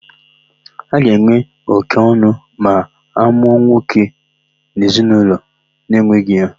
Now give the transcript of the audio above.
A ga-enwe óké ọn̄ụ ma a mụọ nwa nwoke n'ezinaụlọ na-enweghị ya.